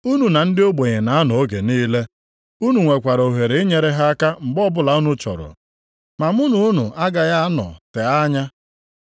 Unu na ndị ogbenye na-anọ oge niile, unu nwekwara ohere inyere ha aka mgbe ọbụla unu chọrọ. Ma mụ na unu agaghị anọ tee anya.